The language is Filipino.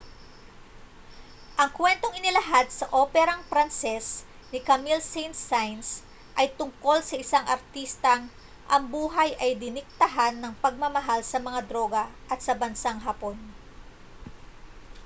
ang kuwentong inilahad sa operang pranses ni camille saint-saens ay tungkol sa isang artistang ang buhay ay diniktahan ng pagmamahal sa mga droga at sa bansang hapon